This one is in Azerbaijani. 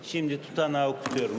İndi protokolu oxuyuram.